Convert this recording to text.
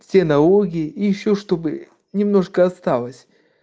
все налоги и ищу чтобы немножко осталось